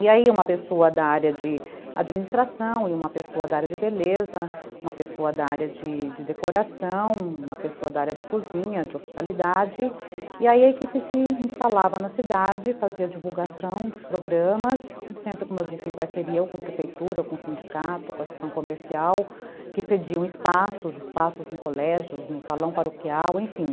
E aí uma pessoa da de área de administração e uma pessoa da área de beleza, uma pessoa da área de decoração, uma pessoa da área de cozinha, de hospitalidade, e aí a equipe se instalava na cidade, fazia divulgação dos programas, sempre, como eu disse, em parceria com a prefeitura, com o sindicato, com a sessão comercial, que cediam espaços, espaços em colégios, no salão paroquial, enfim.